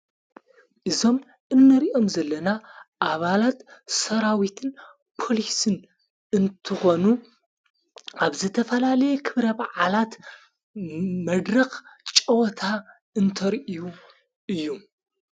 እዞም እነርእኦም ዘለና ኣባላት ሰራዊትን ጶሊስን እንትኾኑ ኣብ ዘተፈላለየ ኽብረ ብዓላት መድረኽ ጨወታ እንተርእዩ እዩ።